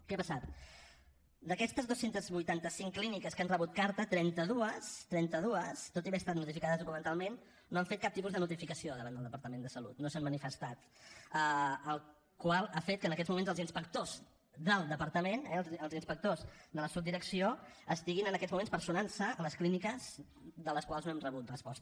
què ha passat d’aquestes dos cents i vuitanta cinc clíniques que han rebut carta trenta dos trenta dos tot i haver estat notificades documentalment no han fet cap tipus de notificació davant del departament de salut no s’han manifestat la qual cosa ha fet que en aquests moments els inspectors del departament eh els inspectors de la subdirecció estiguin en aquests moments personant se a les clíniques de les quals no hem rebut resposta